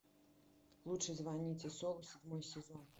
лучше звоните солу седьмой сезон